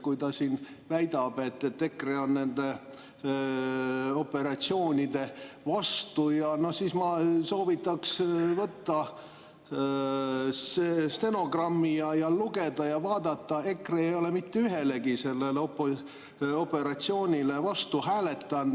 Kui ta siin väidab, et EKRE on nende operatsioonide vastu, no siis ma soovitaks võtta stenogramm, lugeda ja vaadata, et EKRE ei ole mitte ühelegi operatsioonile vastu hääletanud.